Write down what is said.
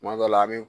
Kuma dɔ la an bɛ